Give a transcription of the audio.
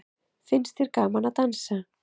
Finnst þér gaman að dansa?